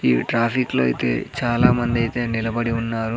ఈ ట్రాఫిక్ లో అయితే చాలా మంది అయితే నిలబడి ఉన్నారు.